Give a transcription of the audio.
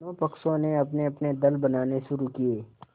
दोनों पक्षों ने अपनेअपने दल बनाने शुरू किये